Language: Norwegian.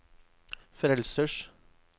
frelsers